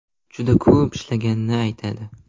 Juda ko‘p ishlaganini aytadi.